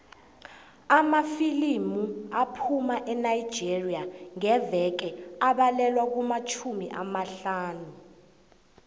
amafilimu aphuma enigeria ngeveke abalelwa kumatjhumi amahlanu